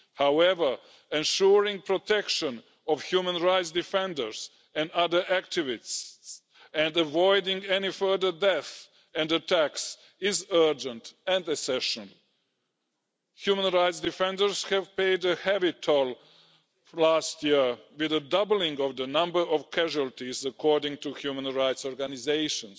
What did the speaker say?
However, ensuring the protection of human rights defenders and other activists and avoiding any further deaths and attacks is urgent and essential. Human rights defenders paid a heavy toll last year with a doubling in the number of casualties according to human rights organisations.